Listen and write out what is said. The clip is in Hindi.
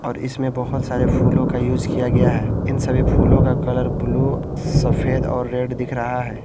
और इसमें बहुत सारे फूलों का यूज किया गया है इन सभी फूलों का कलर ब्लू सफेद और रेड दिख रहा है।